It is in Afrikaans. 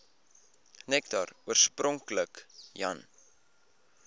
nektar oorspronklik jan